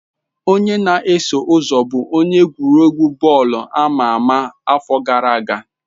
Onye na-eso ụzọ bụ onye egwuregwu bọọlụ ama ama afọ gara aga.